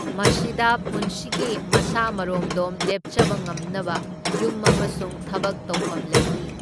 ꯃꯁꯤꯗ ꯄꯨꯟꯁꯤꯒꯤ ꯃꯁꯥ ꯃꯔꯣꯝꯗꯣꯝ ꯂꯦꯞꯆꯕ ꯉꯝꯅꯕ ꯌꯨꯝ ꯑꯃꯁꯨꯡ ꯊꯕꯛ ꯇꯧꯐꯝ ꯂꯩꯔꯤ꯫